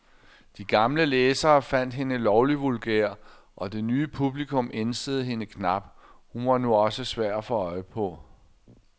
De gamle læsere fandt hende lovlig vulgær, og det nye publikum ænsede hende knap, hun var nu også svær at få øje på.